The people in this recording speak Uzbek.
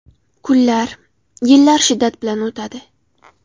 Kunlar, yillar shiddat bilan o‘tadi.